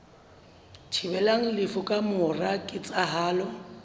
thibelang lefu ka mora ketsahalo